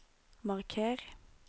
marker